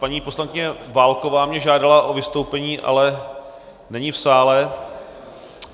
Paní poslankyně Válková mě žádala o vystoupení, ale není v sále.